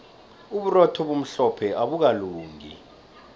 uburotho obumhlophe abukalungi